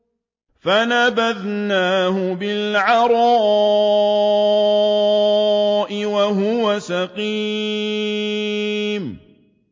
۞ فَنَبَذْنَاهُ بِالْعَرَاءِ وَهُوَ سَقِيمٌ